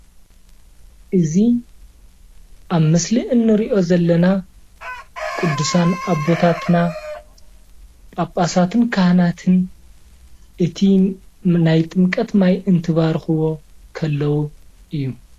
እዚ ኣብ ምስሊ ንርእዮ ዘለና ቅዱሳት ኣቦታትና ጳጳሳትን ካህናትን እቲ ናይ ጥምቀት ማይ እንትባርኽዎ እንተለዉ እዩ።